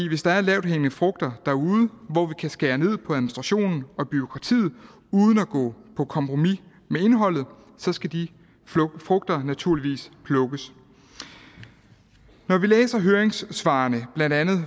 hvis der er lavthængende frugter derude hvor vi kan skære ned på administrationen og bureaukratiet uden at gå på kompromis med indholdet så skal de frugter naturligvis plukkes når vi læser høringssvarene fra blandt andet